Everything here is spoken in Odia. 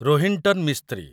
ରୋହିନ୍ଟନ୍ ମିସ୍ତ୍ରୀ